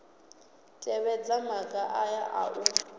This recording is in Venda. tevhedza maga aya a u